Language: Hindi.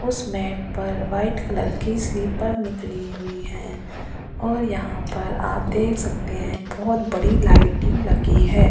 उस मैट पर वाइट कलर की स्लीपर निकली हुई है और यहां पर आप देख सकते हैं बहुत बड़ी लाइटिंग लगी है।